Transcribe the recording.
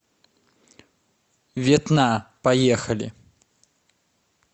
ветна поехали